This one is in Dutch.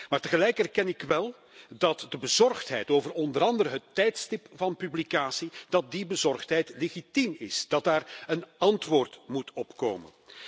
Maar tegelijk erken ik wel dat de bezorgdheid over onder andere het tijdstip van publicatie, dat die bezorgdheid legitiem is, dat daarop een antwoord moet komen.